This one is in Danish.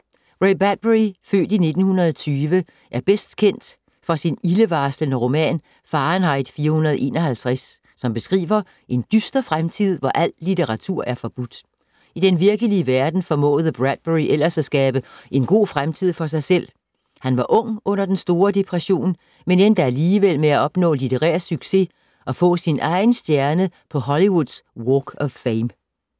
Ray Bradbury, født i 1920, er bedst kendt for sin ildevarslende roman, Fahrenheit 451, som beskriver en dyster fremtid, hvor al litteratur er forbudt. I den virkelige verden formåede Bradbury ellers at skabe en god fremtid for sig selv. Han var ung under den store depression, men endte alligevel med at opnå litterær succes og få sin egen stjerne på Hollywoods Walk of Fame.